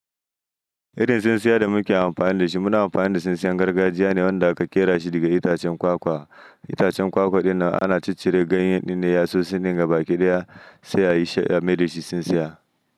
Irin tsintsiya da muke amfani da shi muna amfani da tsintsiyan gargajiya ne wanda aka ƙera shi daga itacen kwakwa. Itacen kwakwa ɗinnan ana ciccire ganyen ɗin da yatsosi ɗin ga baƙi da ya tsaya yi she ya yi mai shi tsintsiya.